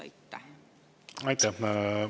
Aitäh!